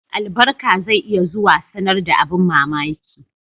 Albarka zai iya zuwa sanar da abin mamaki